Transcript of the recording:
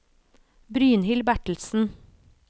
Brynhild Bertelsen